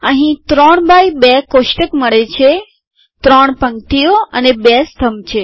અહીં ૩x૨ કોષ્ટક મળે છે ત્રણ પંક્તિઓ અને 2 સ્તંભ છે